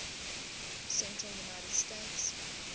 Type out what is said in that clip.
central united states